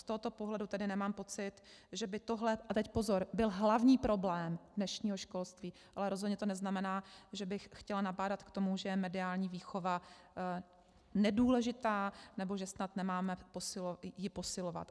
Z tohoto pohledu tedy nemám pocit, že by tohle - a teď pozor - byl hlavní problém dnešního školství, ale rozhodně to neznamená, že bych chtěla nabádat k tomu, že je mediální výchova nedůležitá nebo že snad nemáme ji posilovat.